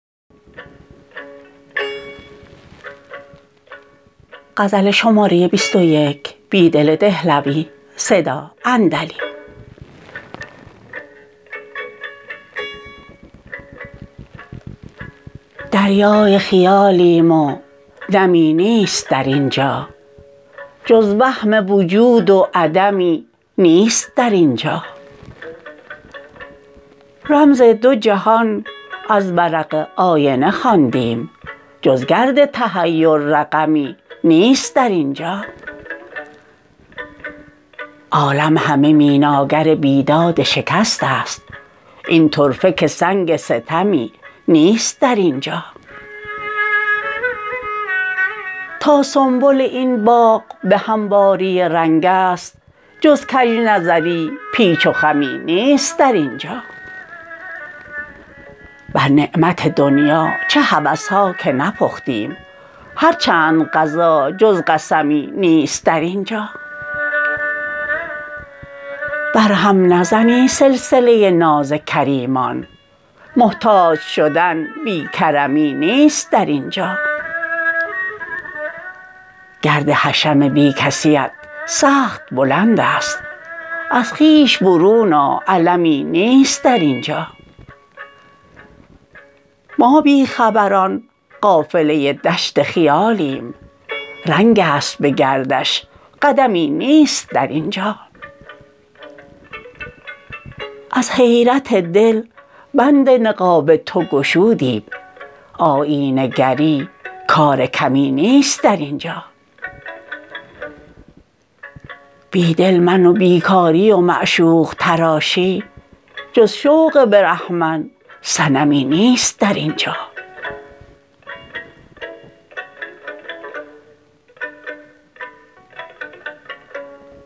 دریای خیالیم و نمی نیست در اینجا جز وهم وجود و عدمی نیست در اینجا رمز دو جهان از ورق آینه خواندیم جز گرد تحیر رقمی نیست در اینجا عالم همه میناگر بیداد شکست است این طرفه که سنگ ستمی نیست در اینجا تا سنبل این باغ به همواری رنگ است جز کج نظری پیچ و خمی نیست در اینجا بر نعمت دنیا چه هوسها که نپختیم هر چند غذا جز قسمی نیست در اینجا برهم نزنی سلسله ناز کریمان محتاج شدن بی کرمی نیست در اینجا گرد حشم بی کسی ات سخت بلندست از خویش برون آ علمی نیست در اینجا ما بی خبران قافله دشت خیالیم رنگ است به گردش قدمی نیست در اینجا از حیرت دل بند نقاب تو گشودیم آیینه گری کار کمی نیست در اینجا بیدل من و بیکاری و معشوق تراشی جز شوق برهمن صنمی نیست در اینجا